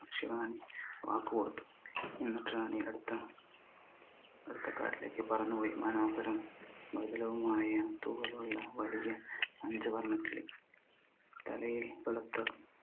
റാണി വാക്ക് കൊടുത്തു എന്നിട് റാണി അടുത്ത അടുത്ത കാട്ടിലേക്ക് പറന്ന് പോയി മനോഹരം മൃദുലവുമായ തൂവലുള്ള വലിയ അഞ്ചു വര്ണക്കിളി തലയിൽ വെളുത്ത